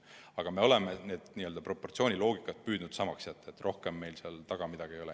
Aga me oleme proportsiooni loogikat püüdnud samaks jätta, rohkem meil seal taga midagi ei ole.